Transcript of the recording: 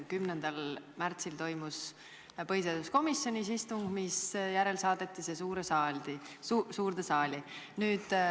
10. märtsil toimus põhiseaduskomisjonis istung, misjärel saadeti see eelnõu suurde saali.